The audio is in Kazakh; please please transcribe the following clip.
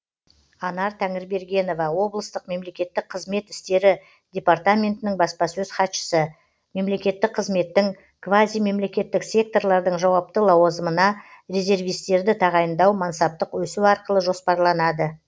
анар тәңірбергенова облыстық мемлекеттік қызмет істері департаментінің баспасөз хатшысы мемлекеттік қызметтің квазимемлекеттік секторлардың жауапты лауазымына резервистерді тағайындау мансаптық өсу арқылы жоспарланады